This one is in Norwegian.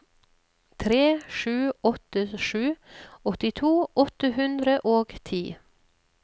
tre sju åtte sju åttito åtte hundre og ti